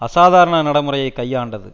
அசாதாரண நடை முறையை கையாண்டது